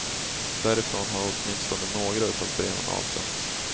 Därifrån har åtminstone några av breven avsänts.